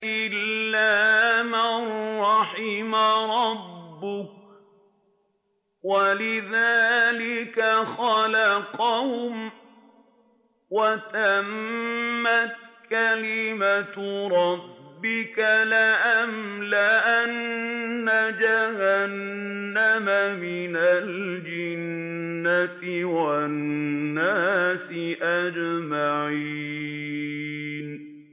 إِلَّا مَن رَّحِمَ رَبُّكَ ۚ وَلِذَٰلِكَ خَلَقَهُمْ ۗ وَتَمَّتْ كَلِمَةُ رَبِّكَ لَأَمْلَأَنَّ جَهَنَّمَ مِنَ الْجِنَّةِ وَالنَّاسِ أَجْمَعِينَ